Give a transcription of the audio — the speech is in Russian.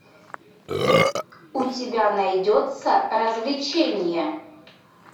у тебя найдется развлечение